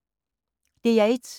DR1